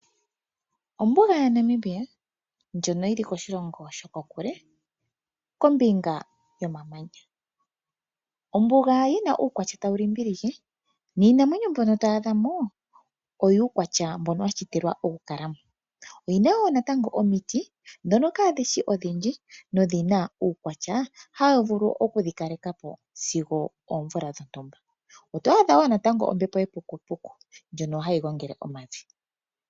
Ombuga yaNamibia ndjono yili koshilongo shokokule kombinga yomamanya. Ombuga yina uukwatya tawu limbilike niinamwenyo mbyono to adhamo oyuukwatya mbono washitilwa okukalamo. Oyina wo natango omiiti dhono kadhishi odhindji nodhina wo uukwatya hawu vulu okudhi kalekapo sigo oomvula dhontumba. Oto adha wo natango ombepo yepukupuku ndjono hayi gongele omavi.